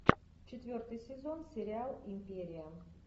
четвертый сезон сериал империя